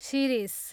Shirish